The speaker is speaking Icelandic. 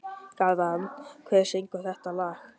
Garðar, hver syngur þetta lag?